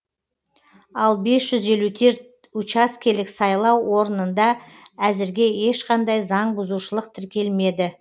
ал бес жүз елу терт учаскелік сайлау орынында әзірге ешқандай заң бұзушылық тіркелмеді